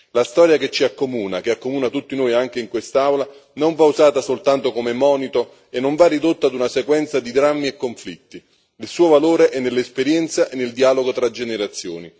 La storia che ci accomuna che accomuna tutti noi, anche in quest'Aula non va usata soltanto come monito e non va ridotta ad una sequenza di drammi e conflitti, il suo valore è nell'esperienza e nel dialogo tra generazioni.